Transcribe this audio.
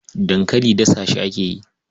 Dankali dasa shi ake yi.